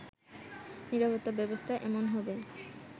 নিরাপত্তা ব্যবস্থা এমন হবে